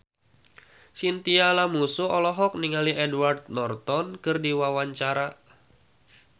Chintya Lamusu olohok ningali Edward Norton keur diwawancara